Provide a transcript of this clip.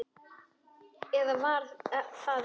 Eða var það ekki þá?